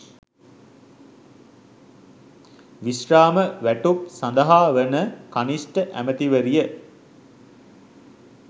විශ්‍රාම වැටුප් සදහා වන කනිෂ්ඨ ඇමතිවරිය